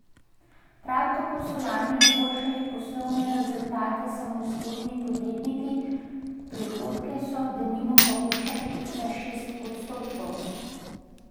Prav tako so lani izboljšali poslovne rezultate samostojni podjetniki, prihodke so denimo povečali za šest odstotkov.